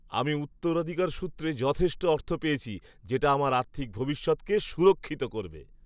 আমি উত্তরাধিকার সূত্রে যথেষ্ট অর্থ পেয়েছি যেটা আমার আর্থিক ভবিষ্যৎকে সুরক্ষিত করবে।